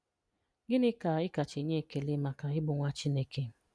Gịnị ka ị kacha enye ekele maka ịbụ nwa Chineke?"